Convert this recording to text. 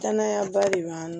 Danayaba de b'an kan